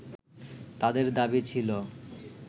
তাদের দাবি ছিল